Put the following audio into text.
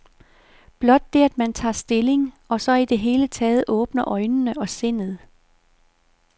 Blot det at man tager stilling, og så i det hele taget åbner øjnene og sindet.